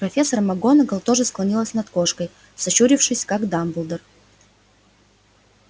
профессор макгонагалл тоже склонилась над кошкой сощурившись как дамблдор